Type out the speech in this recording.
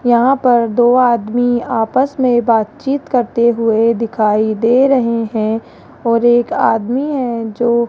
यहां पर दो आदमी आपस में बातचीत करते हुए दिखाई दे रहे हैं और एक आदमी है जो --